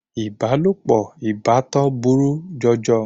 Ìbálòpọ̀ ìbátan burú jọjọ.